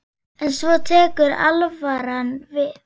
En svo tekur alvaran við.